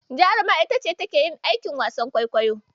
Jaruma ita ce take yin aikin wasan kwaikwayo.